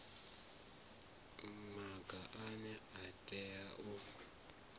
maga ane a tea u